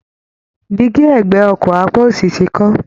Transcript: Dígí ẹ̀gbẹ́ ọkọ̀ apá òsì ti kán